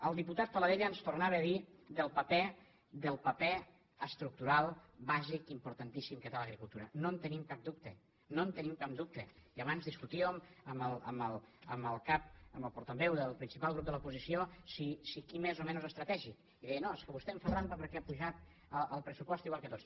el diputat paladella ens tornava a dir del paper estructural bàsic importantíssim que té l’agricultura no en tenim cap dubte no en tenim cap dubte i abans discutíem amb el portaveu del principal grup de l’oposició si qui més o menys estratègic i deia no és que vostè em fa trampa perquè ha pujat el pressupost igual que tots